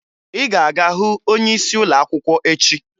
Ị ga-aga hụ onyeisi ụlọakwụkwọ echi!